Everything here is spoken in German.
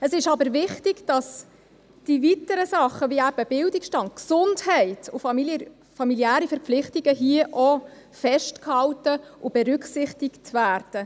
Es ist aber wichtig, dass die weiteren Sachen wie eben Bildungsstand, Gesundheit und familiäre Verpflichtungen hier auch festgehalten und berücksichtigt werden.